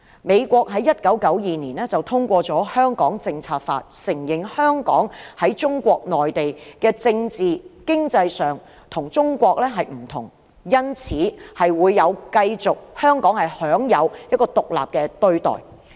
美國在1992年通過了《香港政策法》，承認香港在政治、經濟上與中國內地不同，因此，香港可以繼續享有獨立的待遇。